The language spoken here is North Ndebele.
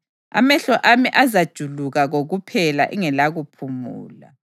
Amehlo ami azajuluka kokuphela, engelakuphumula,